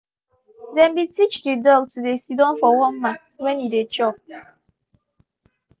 them been teach the dog to dey siddon for one mat when e dey chop.